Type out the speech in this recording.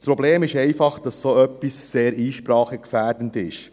Das Problem ist einfach, dass so etwas sehr einsprachegefährdend ist.